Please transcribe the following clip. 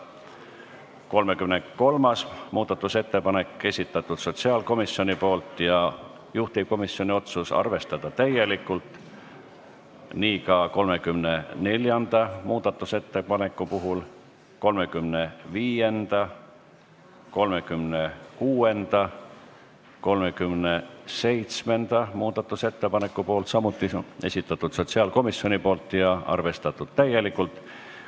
33. muudatusettepaneku on esitanud sotsiaalkomisjon ja juhtivkomisjoni otsus on arvestada täielikult, nii on ka 34. muudatusettepaneku puhul ning 35., 36. ja 37. muudatusettepaneku puhul, mille on samuti esitanud sotsiaalkomisjon ja mis on arvestatud täielikult.